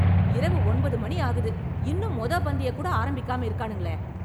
இரவு ஒன்பது மணி ஆகுது இன்னும் மொத பந்திய கூட ஆரம்பிக்காம இருக்கானுங்களே